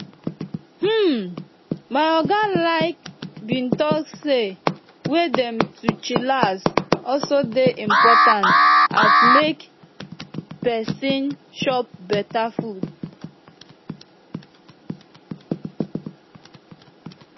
hmm my oga like bin talk say way dem to chillax also dey impotant as make peson chop beta food